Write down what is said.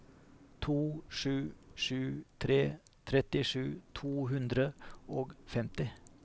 to sju sju tre trettisju to hundre og femti